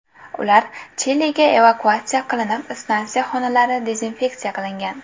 Ular Chiliga evakuatsiya qilinib, stansiya xonalari dezinfeksiya qilingan.